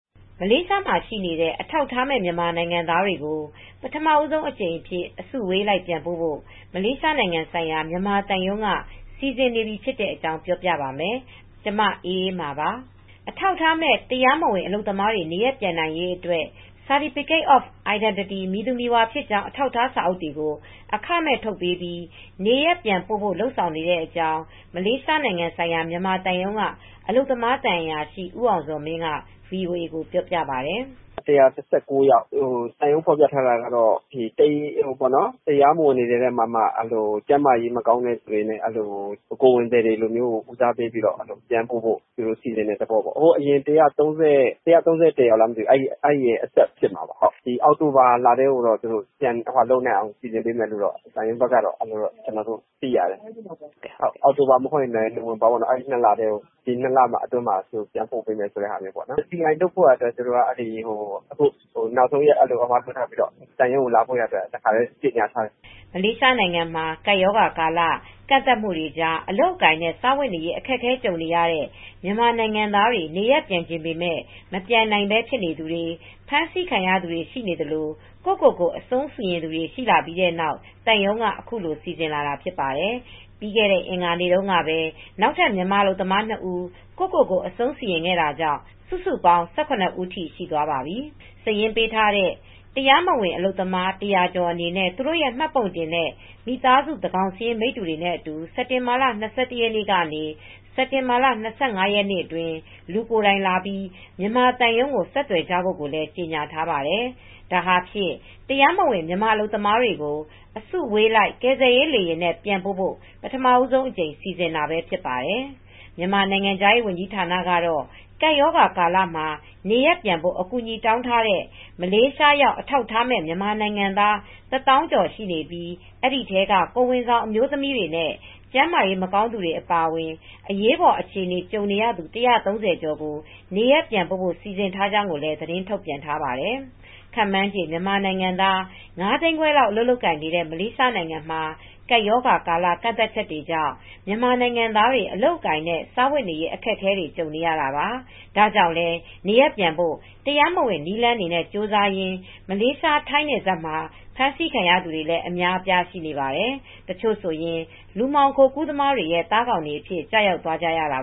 မလေးရှားမှာရှိနေတဲ့ အထောက်အထားမဲ့ မြန်မာနိုင်ငံသားတွေကို ပထမဆုံးအကြိမ်အဖြစ် အစုအဝေးလိုက်ပြန်ပို့ဖို့ မလေးရှားနိုင်ငံဆိုင်ရာ မြန်မာသံရုံးက စီစဉ်နေပါတယ်။ အပြည့်အစုံကို ထိုင်းအခြေစိုက် ဗွီအိုအေ မြန်မာပိုင်း သတင်းထောက် မအေးအေးမာ တင်ပြပေးထားပါတယ်။ အထောက်အထားမဲ့ တရားမဝင် အလုပ်သမားတွေ နေရပ်ပြန်နိုင်ရေးအတွက် Certificate of Identity မည်သူမည်ဝါဖြစ်ကြောင်း အထောက်အထား စာအုပ်တွေကို အခမဲ့ထုတ်ပေးပြီး နေရပ်ပြန်ပို့ဖို့ လုပ်ဆောင်နေတဲ့အကြောာင်း မလေးရှားနိုင်ငံဆိုင်ရာ မြန်မာသံရုံးက အလုပ်သမား သံအရာရှိ ဦးအောင်ဇော်မင်းက ဗွီအိုအေကို ပြောပါတယ်။ "၁၁၉ ယောက် သံရုံးဖော်ပြထားတာကတော့ တရားမဝင်တွေထဲမှာက ကိုယ်ဝန်ဆောင်တွေနဲ့ ကျန်းမာရေးမကောင်းတဲ့ သူတွေကို စီစဉ်ပေးတဲ့သဘောပါ။ ၁၃၀ ပြန်ပို့မယ့် အဆက်ပါ။ ဒီအောက်တိုဘာလထဲမှာ ပြန်ပို့ပေးမယ့် သဘောပါ။ အောက်တိုဘာ ဒါမှမဟုတ် နိုဝင်ဘာလထဲမှာ ပြန်ပို့ပေးမယ့် သဘောပါ။ CI Certificate of Identity လုပ်ပေးဖို့လည်း နောက်ဆုံးရက် သတ်မှတ်ပြီး သံရုံးကိုလာဖို့လည်း သံရုံးက ကြေညာထားပါတယ်။" မလေးရှားနိုင်ငံမှာ ကပ်ရောဂါကာလ ကန့်သတ်မှုတွေကြား အလုပ်အကိုင်နဲ့ စားဝတ်နေရေး အခက်အခဲ ကြုံနေရတဲ့ မြန်မာနိုင်ငံသားတွေ နေရပ်ပြန်ချင်ပေမယ့် မပြန်နိုင်ဘဲ ဖြစ်နေသူတွေ၊ ဖမ်းဆီးခံရသူတွေ ရှိနေသလို ကိုယ့်ကိုယ်ကို အဆုံးစီရင်သူတွေလည်း ရှိပြီးတဲ့နောက် သံရုံးက အခုလို စီစဉ်လာတာ ဖြစ်ပါတယ်။ ပြီးခဲ့တဲ့ အင်္ဂါနေ့တုန်းကပဲ နောက်ထပ် မြန်မာအလုပ်သမားနှစ်ဦး ကိုယ့်ကိုယ်ကို အဆုံးစီရင်တာကြောင့် စုစုပေါင်း ၁၇ ဦးအထိ ရှိသွားပါပြီ။ စာရင်းပေးထားတဲ့ တရားမဝင် အလုပ်သမား ၁၀၀ ကျော်အနေနဲ့ သူတို့ရဲ့ မှတ်ပုံတင်နဲ့ မိသားစုသန်းခေါင်စာရင်း မိတ္တူတွေနဲ့အတူ စက်တင်ဘာလ ၂၁ ရက်နေ့ကနေ စက်တင်ဘာလ ၂၅ ရက်နေ့အတွင်း လူကိုယ်တိုင်လာပြီး မြန်မာသံရုံးကို ဆက်သွယ်ကြဖို့ကိုလည်း ကြေညာထားပါတယ်။ ဒါဟာ တရားမဝင် မြန်မာအလုပ်သမားတွေကို အစုအဝေးလိုက် ကယ်ဆယ်ရေးလေယာဉ်နဲ့ ပြန်ပို့ဖို့ ပထမဆုံးအကြိမ် စီစဉ်တာပဲ ဖြစ်ပါတယ်။ မြန်မာနိုင်ငံခြားရေးဝန်ကြီးဌာနကတော့ ကပ်ရောဂါကာလမှာ နေရပ်ပြန်ဖို့ အကူအညီတောင်းထားတဲ့ မလေးရှားရောက် အထောက်အထားမဲ့ မြန်မာနိုင်ငံသား ၁၀,၀၀၀ ကျော် ရှိနေပြီး ဒီအထဲက ကိုယ်ဝန်ဆောင် အမျိုးသမီးတွေနဲ့ ကျန်းမာရေး မကောင်းသူတွေ အပါအဝင် အရေးပေါ်အခြေအနေ ကြုံနေရသူ ၁၃၀ ကျော်ကို နေရပ်ပြန်ပို့နိုင်ဖို့ စီစဉ်ထားကြောင်းလည်း သတင်းထုတ်ပြန်ထားပါတယ်။ ခန့်မှန်းချေ မြန်မာနိုင်ငံသား ၅ သိန်းခွဲလောက် အလုပ်လုပ်ကိုင်နေတဲ့ မလေးရှားနိုင်ငံမှာ ကပ်ရောဂါကာလ ကန့်သတ်ချက်တွေကြောင့် မြန်မာနိုင်ငံသားတွေ အလုပ်အကိုင်နဲ့ စားဝတ်နေရေး အခက်အခဲတွေ ကြုံနေကြရတာပါ။ ဒါကြောင့်လည်း နေရပ်ပြန်ဖို့ တရားမဝင် နည်းလမ်းတွေနဲ့ ကြိုးစားရင်း မလေးရှား-ထိုင်းနယ်စပ်မှာ ဖမ်းဆီးခံရသူတွေလည်း အများအပြား ရှိနေပါတယ်။ တချို့ဆိုရင် လူမှောင်ခိုကူးသူတွေရဲ့ သားကောင်တွေအဖြစ် ကျရောက်သွားကြရတာ